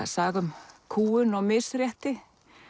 saga um kúgun og misrétti